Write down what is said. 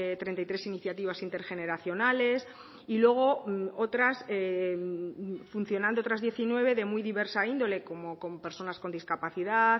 treinta y tres iniciativas intergeneracionales y luego otras funcionando otras diecinueve de muy diversa índole como con personas con discapacidad